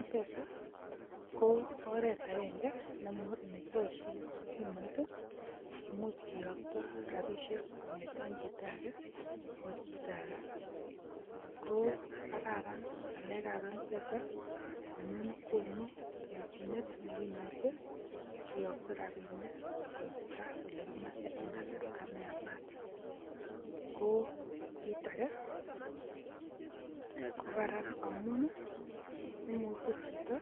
mpesa ko oret agenge nekiboishien simoit i kimuch kiyooktoo rabisiek kongeten chito age akoi chito age. Ko kararan ngalekab mpesa, amun konu kelchinet nekimuche kiyookto rabinik koiitaa olekimoche en kasarta neyaamat. Ko mirage ko karaan amun momuche chito